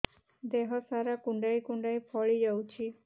ଦେହ ସାରା କୁଣ୍ଡାଇ କୁଣ୍ଡାଇ ଫଳି ଯାଉଛି